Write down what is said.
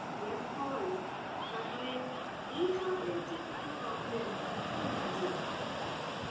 hair fall তারপরে এইসবের যে এক~ একটা problem, ভীষণ বাজে.